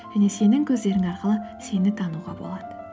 және сенің көздерің арқылы сені тануға болады